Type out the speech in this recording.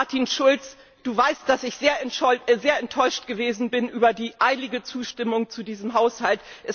Martin Schulz, du weißt, dass ich sehr enttäuscht gewesen bin über die eilige Zustimmung zu diesem Haushalt.